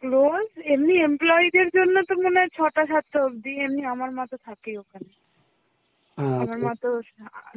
close এমনি employee র জন্য তো মনে হয় ছটা সাতটা অবধি এমনি আমার মতো থাকে ওখানে আমার মা তো